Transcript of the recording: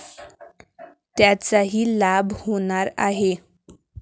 त्याचाही लाभ होणार आहे.